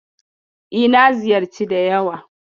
E, na ziyarci da yawa.